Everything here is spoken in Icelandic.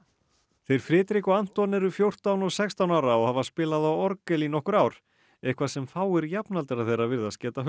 þeir Frederik og Anton eru fjórtán og sextán ára og hafa spilað á orgel í nokkur ár eitthvað sem fáir jafnaldrar þeirra virðast geta